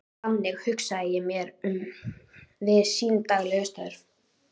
Þannig hugsaði ég mér hann við sín daglegu störf.